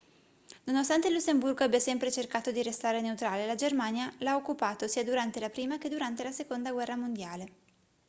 nonostante il lussemburgo abbia sempre cercato di restare neutrale la germania l'ha occupato sia durante la prima che durante la seconda guerra mondiale